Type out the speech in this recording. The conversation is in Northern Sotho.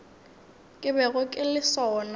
ke bego ke le sona